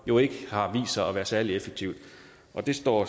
jo ikke har vist sig at være særlig effektivt det står